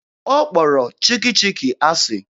Ọ kpọrọ Chikki Chikki asị.